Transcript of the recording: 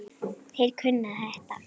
Þeir kunna þetta.